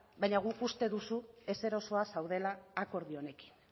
baina guk uste dugu deseroso zaudela akordio honekin